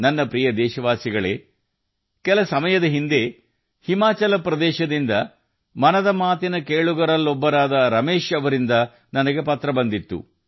ನನ್ನ ಪ್ರೀತಿಯ ದೇಶವಾಸಿಗಳೇ ಸ್ವಲ್ಪ ದಿನಗಳ ಹಿಂದೆ ಹಿಮಾಚಲ ಪ್ರದೇಶದಿಂದ ಮನ್ ಕಿ ಬಾತ್ ಕೇಳುಗ ಶ್ರೀ ರಮೇಶ್ ಜೀ ಅವರಿಂದ ನನಗೆ ಪತ್ರ ಬಂದಿತ್ತು